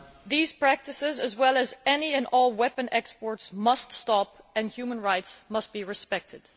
These practices, as well as any and all weapon exports, must stop and human rights must be respected.